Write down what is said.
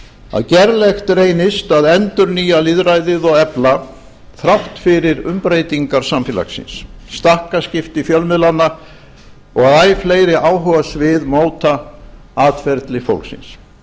að gerlegt reynist að endurnýja lýðræðið og efla þrátt fyrir umbreytingar samfélagsins stakkaskipti fjölmiðlanna og að æ fleiri áhugasvið móta atferli fólksins